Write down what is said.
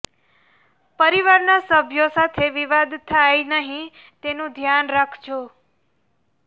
પરિવારના સભ્યો સાથે વિવાદ થાય નહીં તેનું ધ્યાન રાખજો